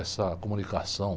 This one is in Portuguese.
Essa comunicação.